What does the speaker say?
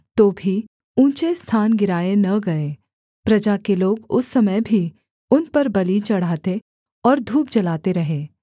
तो भी ऊँचे स्थान गिराए न गए प्रजा के लोग उस समय भी उन पर बलि चढ़ाते और धूप जलाते रहे